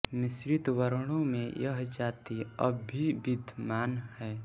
मिश्रित वर्णों में यह जाति अब भी विद्यमान है